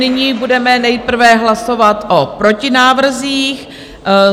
Nyní budeme nejprve hlasovat o protinávrzích.